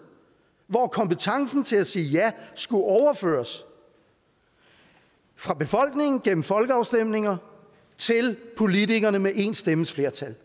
hvor kompetencen til at sige ja skulle overføres fra befolkningen gennem folkeafstemninger til politikerne med en stemmes flertal